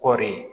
Kɔɔri